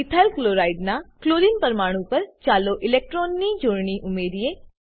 ethyl chloride નાં chlorine પરમાણુ પર ચાલો ઇલેક્ટ્રોનની જોડણી ઉમેરીએ